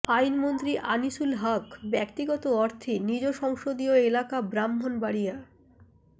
আইনমন্ত্রী আনিসুল হক ব্যক্তিগত অর্থে নিজ সংসদীয় এলাকা ব্রাহ্মণবাড়িয়া